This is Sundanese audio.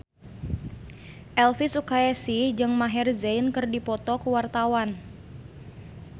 Elvy Sukaesih jeung Maher Zein keur dipoto ku wartawan